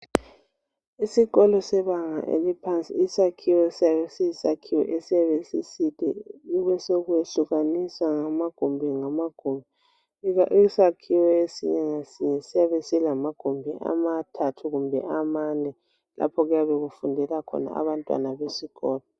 Isikolo sebanga eliphansi isakhiwo siyabe siyisakhiwo esiyabe siside kube sokuyehlukaniswa ngamagumbi isakhiwe esinye siyabe silamagumbi amathathu kumbe amane lapho okuyabe kufundela khona abantwana besikolo.